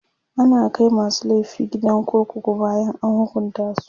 ana Kai masu laifi gidan kurkuku bayan an hukunta su